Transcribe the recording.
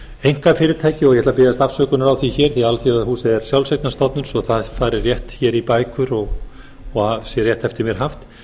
einkafyrirtæki og ég ætla að biðjast afsökunar á því hér því að alþjóðahúsið er sjálfseignarstofnun svo það fari rétt hér í bækur og sé rétt eftir mér haft